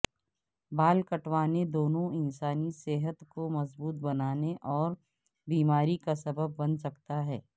بال کٹوانے دونوں انسانی صحت کو مضبوط بنانے اور بیماری کا سبب بن سکتا ہے